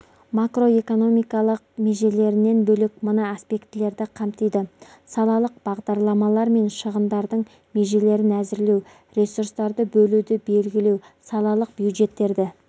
макроэкономикалық межелерінен бөлек мына аспектілерді қамтиды салалық бағдарламалар мен шығындардың межелерін әзірлеу ресурстарды бөлуді белгілеу салалық бюджеттерді